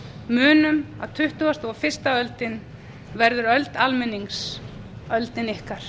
munum að tuttugasta og fyrstu oddinn verður öld almennings öldin ykkar